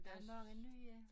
Der mange nye